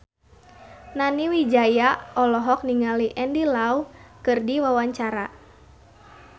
Nani Wijaya olohok ningali Andy Lau keur diwawancara